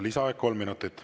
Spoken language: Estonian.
Lisaaeg kolm minutit.